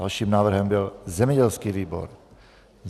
Dalším návrhem byl zemědělský výbor.